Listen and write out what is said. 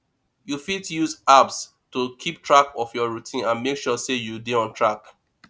you fit use apps to keep track of your routine and make sure sey you dey on track